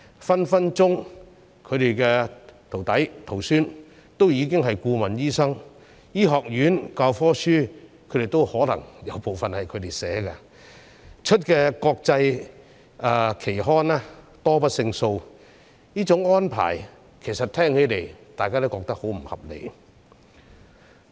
他們的徒弟、徒孫隨時已經是顧問醫生，而醫學院的教科書有可能部分由他們編撰，他們在國際期刊發表的的論文亦多不勝數，這種安排大家聽起來也覺得十分不合理。